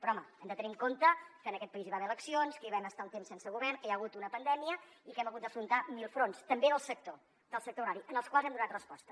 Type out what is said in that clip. però home hem de tenir en compte que en aquest país hi va haver eleccions que hi vam estar un temps sense govern que hi ha hagut una pandèmia i que hem hagut d’afrontar mil fronts també del sector agrari en els quals hem donat resposta